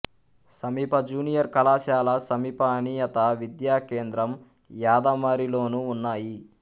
సమీప జూనియర్ కళాశాల సమీప అనియత విద్యా కేంద్రం యాదమరిలోను ఉన్నాయి